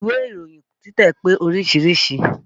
Ìwé ìròyin títẹ̀ pé oríṣiríṣìí